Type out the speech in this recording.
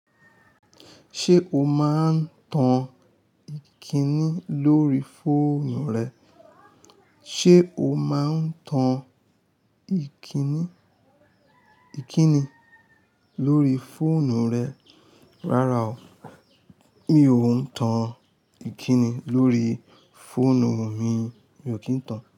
Ṣé o máa ń tan ìkíni lórí fóònù rẹ? Ṣé o máa ń tan ìkíni, ìkíni lórí fóònù rẹ? Rárá o, mi ò ń tan ìkíni lórí fóònù mi, mi ò kín tan.